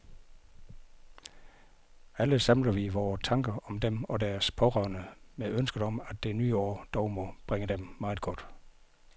Alle samler vi vore tanker om dem og deres pårørende med ønsket om, at det nye år dog må bringe dem meget godt.